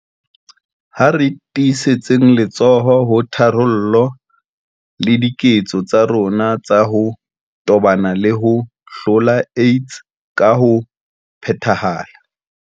Ha re tiisetseng letsoho ho tharollo le diketso tsa rona tsa ho tobana le ho hlola AIDS ka ho phethahala.